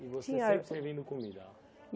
E você sempre servindo comida?